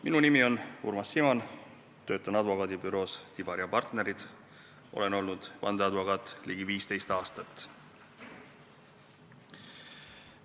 Minu nimi on Urmas Simon, töötan advokaadibüroos Tibar & Partnerid ning olen olnud vandeadvokaat ligi 15 aastat.